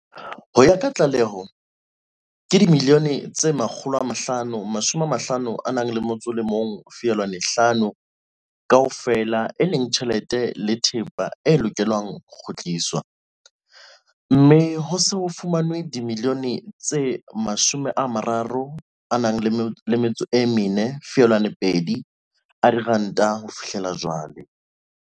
Ho ya ka tlaleho, ke dimiliyone tse R551.5 kaofela, e leng tjhelete le thepa, e lokelang ho kgutliswa, mme ho se ho fumanwe dimiliyone tse R34.2 ho fihlela jwale.